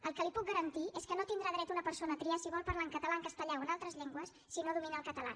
el que li puc garantir és que no tindrà dret una persona a triar si vol parlar en català en castellà o en altres llengües si no domina el català